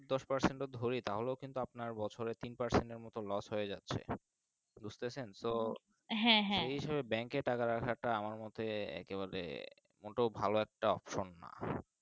দশ percent যদদড়ি তাহলে কিন্তু আপনার বছরে তিন percent এর মতো Los হয়ে যাচ্ছে বুজতাছেন তো হ্যাঁ হ্যাঁ সেই হিসাবে Bank এ টাকা রাখা টা আমার মতে একেবারে মোটেও ভালো একটা না। parcent